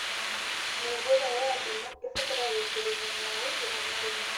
Mĩũngũrwa ya ndimũ ĩbataraga guitĩrĩrio maĩ rĩmwe na rĩmwe